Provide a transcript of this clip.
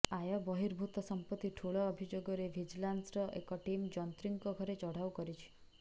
ଆୟ ବହିର୍ଭୂତ ସମ୍ପତ୍ତି ଠୁଳ ଅଭିଯୋଗରେ ଭିଜିଲାନ୍ସର ଏକ ଟିମ୍ ଯନ୍ତ୍ରୀଙ୍କ ଘରେ ଚଢାଉ କରିଛି